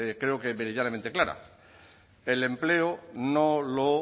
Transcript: creo que meridianamente clara el empleo no lo